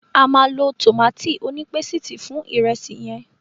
A máa lọ tòmátì onípésìtì fún ìrẹsì yẹn.